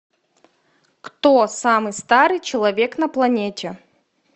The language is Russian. кто самый старый человек на планете